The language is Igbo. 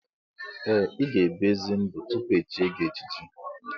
Ee! Ị ga ebi ezi ndụ tupu echie gị echichi.